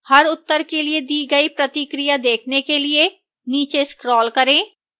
हर उत्तर के लिए दी गई प्रतिक्रिया देखने के लिए नीचे scroll करें